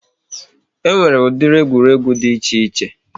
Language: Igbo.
E nwere ụdịrị egwuregwu dị iche iche